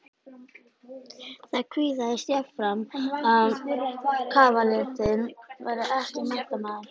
Það kvisaðist jafnframt að kavalérinn væri ekki menntamaður.